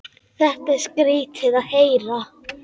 Þetta var skrýtið að heyra.